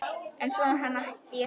En svo hætti ég því.